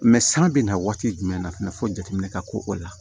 san bɛna waati jumɛn na fɛnɛ fo jateminɛ ka k'o la